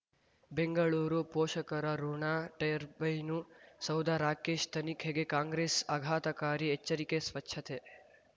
ಬೆಂಗಳೂರು ಪೋಷಕರಋಣ ಟರ್ಬೈನು ಸೌಧ ರಾಕೇಶ್ ತನಿಖೆಗೆ ಕಾಂಗ್ರೆಸ್ ಆಘಾತಕಾರಿ ಎಚ್ಚರಿಕೆ ಸ್ವಚ್ಛತೆ